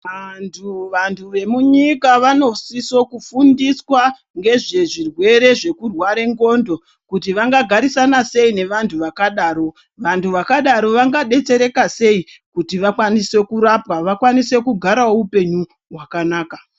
Vantu vantu vemunyika vanosiso kufundiswa ngezvezvirwere zvekurwara ngxondo kuti vangagarisana sei nevantu vakadaro. Vantu vakadaro vangadetsereka sei kuti vakwanise kurapwa vakwanise kugarawo upenyu hwakanaka.